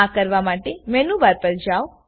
આ કરવા માટે મેનુ બાર પર જાઓ